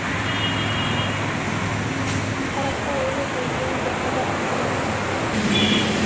қараса өңі де жөні де қазақ екен